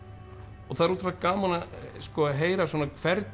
og það er ótrúlega gaman að heyra hvernig